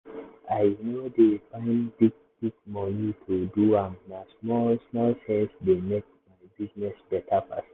i no dey find big-big money to do am na small small sense dey make my business better pass.